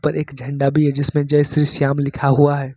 एक झंडा भी है जिसमें जय श्री श्याम लिखा हुआ है।